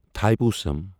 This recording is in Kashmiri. تھاےپوسم